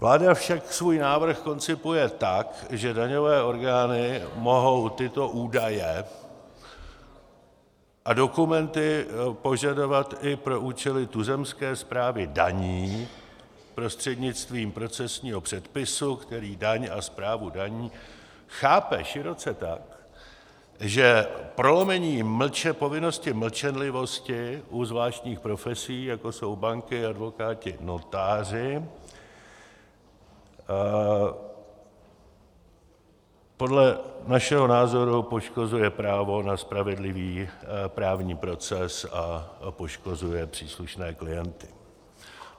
Vláda však svůj návrh koncipuje tak, že daňové orgány mohou tyto údaje a dokumenty požadovat i pro účely tuzemské správy daní prostřednictvím procesního předpisu, který daň a správu daní chápe široce tak, že prolomení povinnosti mlčenlivosti u zvláštních profesí, jako jsou banky, advokáti, notáři, podle našeho názoru poškozuje právo na spravedlivý právní proces a poškozuje příslušné klienty.